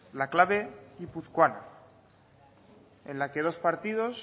la clave guipuzcoana en la que dos partidos